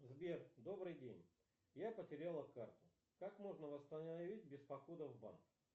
сбер добрый день я потеряла карту как можно восстановить без похода в банк